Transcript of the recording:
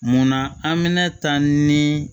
Munna an mɛna ta ni